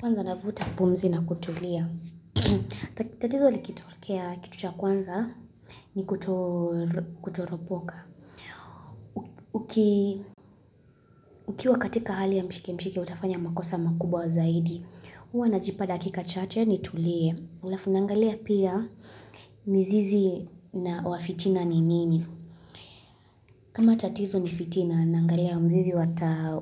Kwanza navuta pumzi na kutulia. Tatizo likitokea, kitu cha kwanza nikutoropoka. Ukiwa katika hali ya mshike mshike utafanya makosa makubwa zaidi. Huwa najipa dakika chache nitulie. Alafu naangalia pia mzizi wa fitina ni nini. Kama tatizo ni fitina, naangalia mzizi